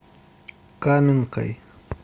каменкой